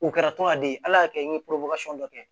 U kɛra tɔnden ala y'a kɛ n ye dɔ kɛ